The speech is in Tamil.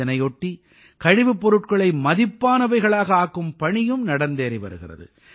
இதனையொட்டி கழிவுப் பொருட்களை மதிப்பானவைகளாக ஆக்கும் பணியும் நடந்தேறி வருகிறது